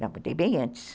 Não, eu mudei bem antes.